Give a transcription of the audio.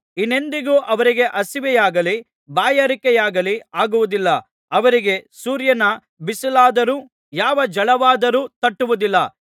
ಇನ್ನೆಂದಿಗೂ ಅವರಿಗೆ ಹಸಿವೆಯಾಗಲಿ ಬಾಯಾರಿಕೆಯಾಗಲಿ ಆಗುವುದಿಲ್ಲ ಅವರಿಗೆ ಸೂರ್ಯನ ಬಿಸಿಲಾದರೂ ಯಾವ ಝಳವಾದರೂ ತಟ್ಟುವುದಿಲ್ಲ